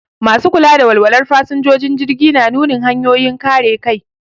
Masu kula da walwalar fasinjojin jirgi na nunin hanyoyin kare kai.